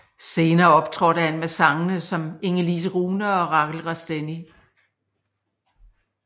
Senere optrådte han med sangere som Ingelise Rune og Raquel Rastenni